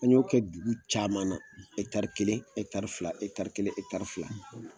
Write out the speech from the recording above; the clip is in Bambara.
An y'o kɛ dugu caman na, kelen fila kelen fila.